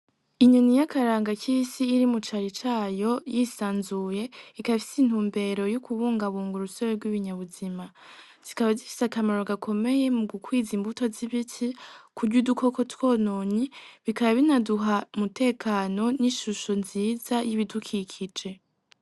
Inyoni y'akaranga k'isi iri mucari cayo yisanzuye ikafise intumbero y'ukubungabunga urusebe rw'ibinyabuzima zikaba zifise akamaro gakomeye mu gukwiza imbuto z'ibiti kurya udukoko twononye bikaba binaduha mutekano n'ishusho nziza y'ibidukikije.